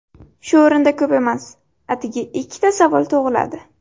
Shu o‘rinda ko‘p emas, atigi ikkita savol tug‘iladi.